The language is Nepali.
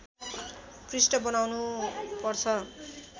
पृष्ठ बनाउनु पर्छ